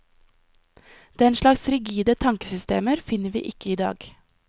Den slags rigide tankesystemer finner vi ikke i dag.